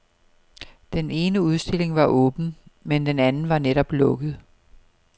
Den ene udstilling var åben, men den anden var netop lukket.